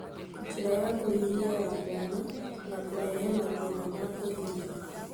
Njĩra ya kũhihia ya mwana na kũrehe mathĩna ma kũhihia.